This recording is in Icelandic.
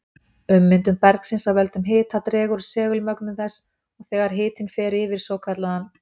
Ummyndun bergsins af völdum hita dregur úr segulmögnun þess, og þegar hitinn fer yfir svokallaðan